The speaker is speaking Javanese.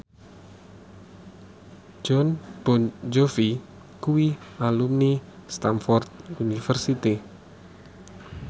Jon Bon Jovi kuwi alumni Stamford University